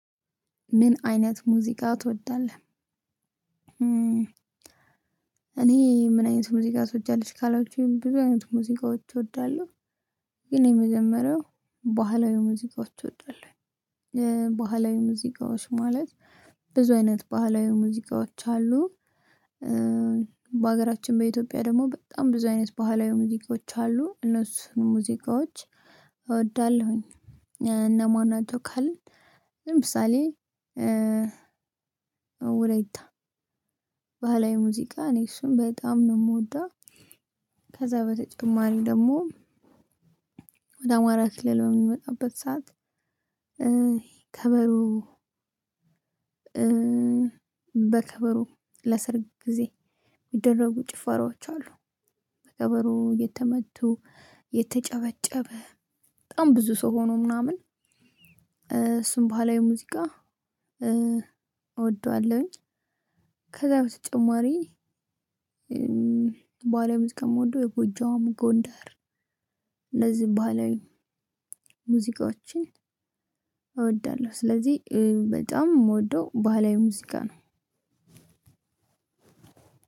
ምን አይነት ሙዚቃ ትወዳለህ? እኔ ምን አይነት ሙዚቃ ትወጃለሽ ካላችሁኝ ብዙ አይነት ሙዚቃዎች እወዳለሁ ግን የመጀመሪያው በኋላ የሙዚቃዎች ወጣለሁ ባህላዊ ሙዚቃዎች ማለት ብዙ አይነት ባህላዊ ሙዚቃዎች አሉ በሀገራችን በኢትዮጵያ ደግሞ በጣም ብዙ አይነት ባህላዊ ሙዚቃዎች አሉ። እነሱን ሙዚቃዎች እወዳለሁኝ። እነማናቸው ካልን ለምሳሌ ባህላዊ ሙዚቃ እኔ እሱን በጣም ነው የምወደው። ከዛ በተጨማሪ ደግሞ ወደ አማራ ክልል በምንመጣበት ሰዓት ከበሮ በከበሮ ለሰርግ ጊዜ የሚደረጉ ጭፈራዎች አሉ። ከበሮ እየመቱ እየተጨበጨበ በጣም ብዙ ሰው ሆነው ምናምን እሱን ባህላዊ ሙዚቃ እወደዋለሁኝ። ከዛ በተጨማሪ ባህላዊ ሙዚቃ የምወደው የጎጃም፣ ጎንደር እነዚህ ባህላዊ ሙዚቃዎችን እወዳለሁ። ስለዚህ በጣም የምወደው ባህላዊ ሙዚቃ ነው።